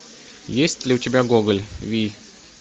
есть ли у тебя гоголь вий